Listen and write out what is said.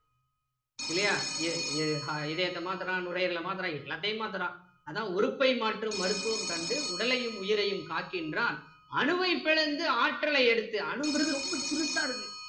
இல்லையா இதயத்தை மாத்துறான் நுரையீரல மாத்துறான் எல்லாத்தையும் மாத்துறான் அதான் உறுப்பை மாற்றும் மருத்துவம் கண்டு உடலையும் உயிரையும் காக்கின்றான் அணுவை பிளந்து ஆற்றலை எடுத்து அணுங்கிறது ரொம்ப சிறுசா இருக்கும்